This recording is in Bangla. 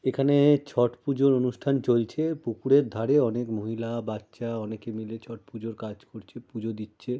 এখানে-এ ছট পুজোর অনুষ্ঠান চলছে। পুকুরের ধারে অনেক মহিলা বাচ্চা অনেকে মিলে ছট পুজোর কাজ করছে। পুজো দিচ্ছে।